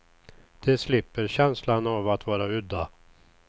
De slipper känslan av att vara udda.